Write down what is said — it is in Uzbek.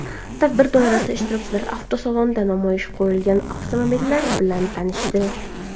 Tadbir doirasida ishtirokchilar avtosalonda namoyishga qo‘yilgan avtomobillar bilan tanishdi.